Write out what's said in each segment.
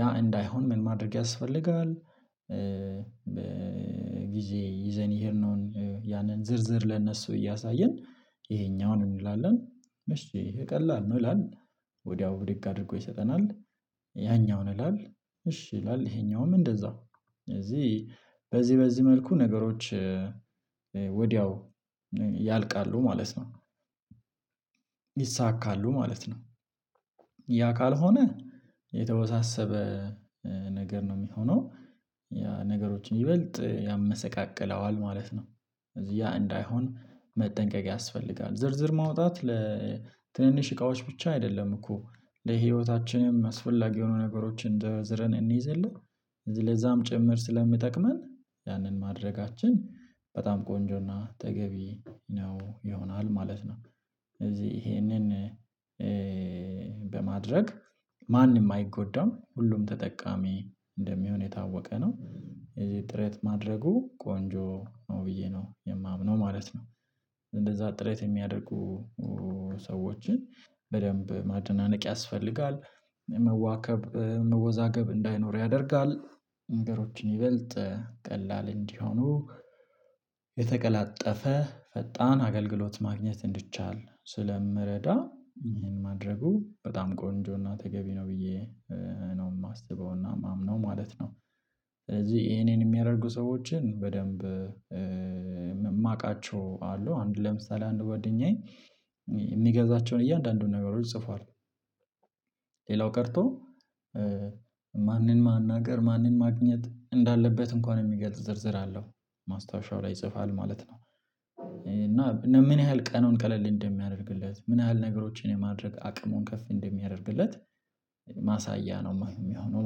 ያ እንዳይሆን ምን ማድረግ ያስፈልጋል? በጊዜ ይዘን የሄድነውን ያንን ዝርዝር ለእነሱ እያሳየን ይሄኛውን እንላለን እሺ ቀላል ነው ይላል። ወዲያው ብድግ አድርጎ ይሰጠናል ያኛውን ይላል እሺ ይላል ይሄኛውም እንደዛው እዚህ በዚህ በዚህ መልኩ ነገሮች ወዲያው ያልቃሉ ማለት ነው። ያ ካልሆነ የተወሳሰበ ነገር ነው የሚሆነው ያ ነገሮችን ይበልጥ ያመሰቃቅለዋል ማለት ነው። ያ እንዳይሆን መጠንቀቅ ያስፈልጋል ዝርዝር ማውጣት ለትንንሽ እቃዎች ብቻ አይደለም እኮ ለህይወታችንም አስፈላጊ የሆኑ ነገሮችን ዘርዝረን እንይዝ የለ ለዛም ጭምር ስለሚጠቅመን ያንን ማድረጋችን በጣም ቆንጆና ተገቢ ነው ይሆናል ማለት ነው። እዚህ ይሄንን በማድረግ ማንም አይጎዳም ሁሉም ተጠቃሚ እንደሚሆን የታወቀ ነው። የዚህ ጥረት ማድረጉ ቆንጆ ነው ብዬ ነው የማምነው ማለት ነው። እንደዛ ጥረት የሚያደርጉ ሰዎችን በደንብ ማደናነቅ ያስፈልጋል መዋከብ መወዛገብ እንዳይኖር ያደርጋል ነገሮችን ይበልጥ ቀላል እንዲሆኑ የተቀላጠፈ ፈጣን አገልግሎት ማግኘት እንዲቻል ስለምረዳ ይሄን ማድረጉ በጣም ቆንጆና ተገቢ ነው ብዬ ነው የማስበውና የማምነው ማለት ነው። ስለዚህ የኔን የሚያደርጉ ሰዎችን በደንብ የማውቃቸው አሉ አንድ ለምሳሌ አንድ ጓደኛዬ የሚገዛቸውን እያንዳንዱን ነገሮች ጽፏል ሌላው ቀርቶ ማንን ማናገር ማንን ማግኘት እንዳለበት እንኳን የሚገልጽ ዝርዝር አለው ማስታወሻው ላይ ይጽፋል ማለት ነው። እና ምን ያህል ቀኑን ቀለል እንደሚያደርግለት ምን ያህል ነገሮችን የማድረግ አቅሙን ከፍ እንደሚያደርግለት ማሳያ ነው የሚሆነው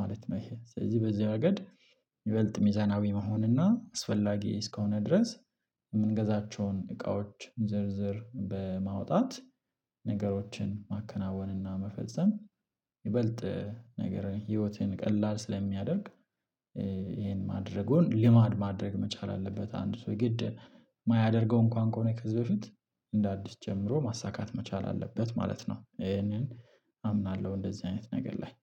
ማለት ነው። ይሄ ስለዚህ በዚህ ረገድ ይበልጥ ሚዛናዊ መሆን እና አስፈላጊ እስከሆነ ድረስ የምንገዛቸውን እቃዎች ዝርዝር በማውጣት ነገሮችን ማከናወንና መፈጸም ይበልጥ ነገር ህይወትን ቀላል ስለሚያደርግ ይሄን ማድረጉን ልማድ ማድረግ መቻል አለበት። አንድ ሰው ግድ የማያደርገው እንኳን ከሆነ ከዚህ በፊት እንደ አዲስ ጀምሮ ማሳካት መቻል አለበት ማለት ነው። ይሄንን አምናለሁ እንደዚህ አይነት ነገር ላይ